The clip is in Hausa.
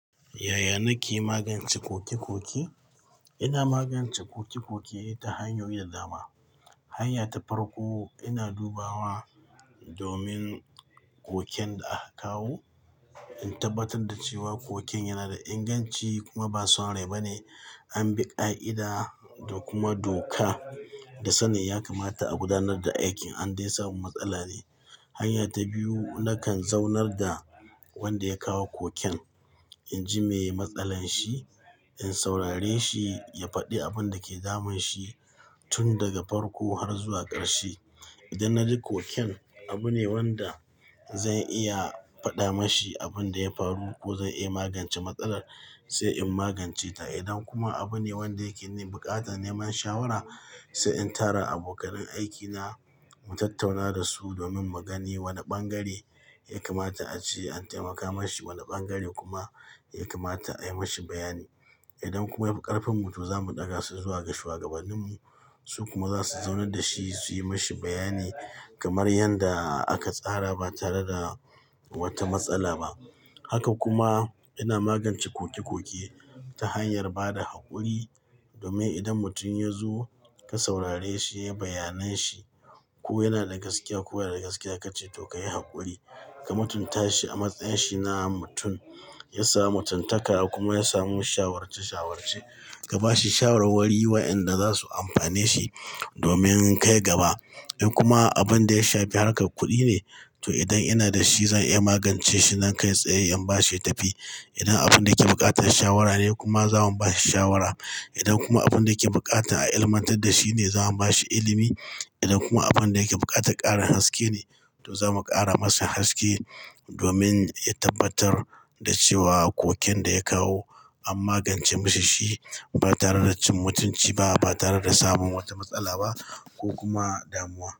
Yaya na ke magance koke-koke? Ina magance koki-koki ta hanyoyi da dama. Hanya ta farko, ina dubawa domin koken da aka kawo, in tabbatar da cewa koken yana da inganci kuma ba son rai bane, an bi ƙa'ida da kuma doka. Da sanin yakamata a gudanar da aikin, an dai samu matsala ne. Hanya ta biyu, nakan zaunar da wanda ya kawo koken, in ji me matsalar shi, in saurare shi, ya faɗi abin da ke damun shi tun daga farko har zuwa ƙarshe. Idan na ji koken abu ne wanda zan iya faɗa mashi abin da ya faru ko zan iya magance matsalar, sai in magance ta. Idan kuma abu ne wanda yake buƙatar neman shawara, sai in tara abokan aiki na mu tattauna da su domin mu gani wani ɓangare ya kamata a ce, an taimaka mashi, wani ɓangare kuma ya kamata a yi mashi bayani. Idan kuma ya fi ƙarfin mutum, za mu ɗaga shi zuwa ga shugabanninmu, su kuma za su zaunar da shi su yi mashi bayani kamar yadda aka tsara ba tare da wata matsala ba. Haka kuma ina magance koke-koke ta hanyar ba da haƙuri domin idan mutum ya zo ka saurare shi ya yi bayanan shi ko yana da gaskiya ko ba yana da gaskiya, ka ce to, ka yi haƙuri, ka mutunta shi a matsayin shi na mutum. Ya sa mutuntaka kuma ya samu shawarce- shawarce. Ka ba shi shawarwari wa'yanda za su amfane shi domin kai gaba. In kuma abin da ya shafi harƙar kuɗi ne, to idan ina da shi zan iya magance shi nan kai tsaye in ba shi yatafi. Idan abin da ke buƙatar shawara ne kuma, za mu ba shi shawara. Idan kuma abin da yake buƙata a ilmantar da shi ne, za mu ba shi ilimi. Idan kuma abin da yake buƙata ƙarin haske ne, to za mu ƙara masa haske domin ya tabbatar da cewa koken da ya kawo an magance mashi shi ba tare da cin mutunci ba, ba tare da samun wata matsala ba ko kuma damuwa.